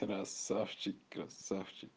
красавчик красавчик